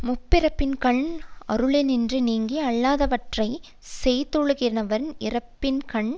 முற்பிறப்பின்கண் அருளினின்று நீங்கி அல்லாதவற்றை செய்தொழுகினவர் இப்பிறப்பின்கண்